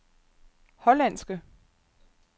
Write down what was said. hollandske